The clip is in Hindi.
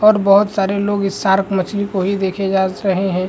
और बोहत सारे लोग इस शार्क मछली को ही देखे जास रहे हैं।